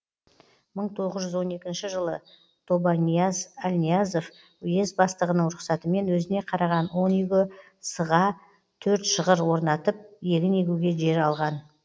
мың тоғыз жүз он екінші жылы тобанияз әлниязов уезд бастығының рұқсатымен өзіне қараған он үйге с ға төрт шығыр орнатып егін егуге жер алған